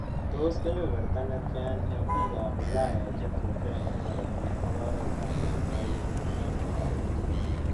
Tos' kebeberta netyan eng' piikap ulaya che tupcho eng' korotik ak ooretap laitorinik eng' oor agetugul